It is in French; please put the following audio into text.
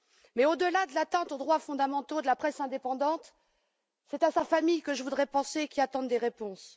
Mais au delà de l'atteinte aux droits fondamentaux de la presse indépendante, c'est à sa famille que je voudrais penser, qui attend des réponses.